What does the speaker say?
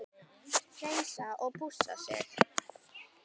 Hreinsa og pússa þig?